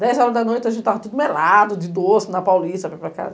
Dez horas da noite, a gente estava todo melado de doce, na Paulista, para ir para casa.